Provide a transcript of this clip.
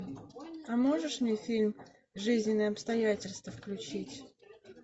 а можешь мне фильм жизненные обстоятельства включить